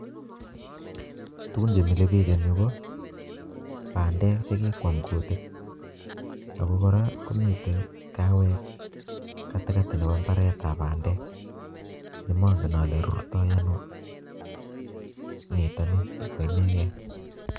Tugun chemile piik eng' yu ko pandek chekikwam kutik ako koraa komite kahawek katikati nepo imbaret ab pandek nemangen ale rurtoy ano nitoni ko inegei